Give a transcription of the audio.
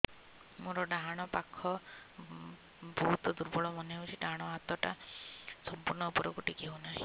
ମୋର ଡାହାଣ ପାଖ ବହୁତ ଦୁର୍ବଳ ମନେ ହେଉଛି ଡାହାଣ ହାତଟା ସମ୍ପୂର୍ଣ ଉପରକୁ ଟେକି ହେଉନାହିଁ